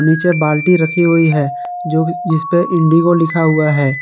पीछे बाल्टी रखी हुई है जो जिसपे इंडिगो लिखा हुआ है।